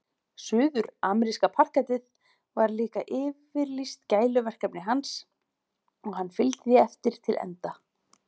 Suðurameríska parkettið var líka yfirlýst gæluverkefni hans og hann fylgdi því eftir til enda.